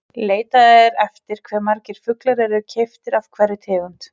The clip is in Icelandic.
Leitað er eftir hve margir fuglar eru keyptir af hverri tegund.